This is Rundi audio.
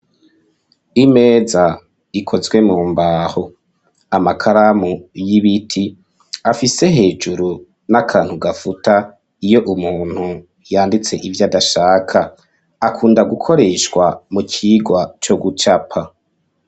Imeza ikozwe mu mbaho, amakaramu y'ibiti afise hejuru n'akantu gafuta iyo umuntu yanditse ivyo adashaka. Gakunda gukoreshwa mu kigwa co gucapa.